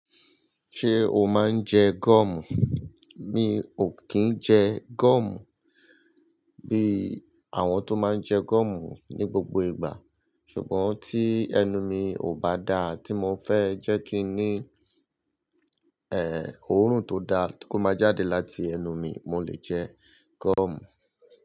Ṣé o máa ń jẹ goọ̀mù? Mi ò kí ń jẹ gúọ̀mù bí àwọn tó máa ń jẹ gúọ̀mù ní gbogbo ìgbà. Ṣùgbọ́n tí ẹnu mi ò bá dá, tí mo fẹ́ jẹ́ kí i ní òórùn tó dá tí kò ma jáde láti ẹnu mi, mo lè jẹ gúọ̀mù.